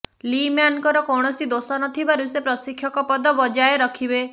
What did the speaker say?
ଲିମ୍ୟାନ୍ଙ୍କର କୌଣସି ଦୋଷ ନଥିବାରୁ ସେ ପ୍ରଶିକ୍ଷକ ପଦ ବଜାୟ ରଖିବେ